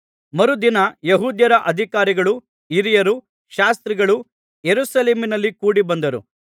ಮರುದಿನ ಯೆಹೂದ್ಯರ ಅಧಿಕಾರಿಗಳೂ ಹಿರಿಯರೂ ಶಾಸ್ತ್ರಿಗಳೂ ಯೆರೂಸಲೇಮಿನಲ್ಲಿ ಕೂಡಿಬಂದರು